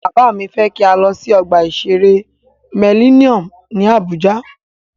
Bàbá mí fẹ́ kí a lọ sí ọgbà ìṣere Mellinnium ní Àbújá.